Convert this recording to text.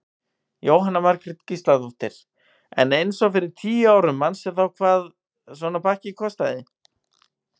Jóhanna Margrét Gísladóttir: En eins og fyrir tíu árum manstu þá hvað svona pakki kostaði?